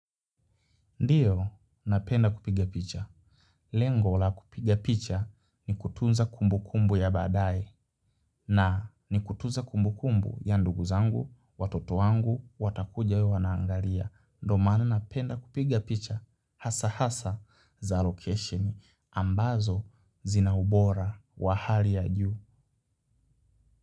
Ndiyo, napenda kupiga picha. Lengo la kupiga picha ni kutunza kumbu kumbu ya baadae na ni kutunza kumbukumbu ya ndugu zangu, watoto wangu, watakuja wawe wanaangalia. Ndo maana napenda kupiga picha hasa hasa za location ambazo zina ubora wa hali ya juu.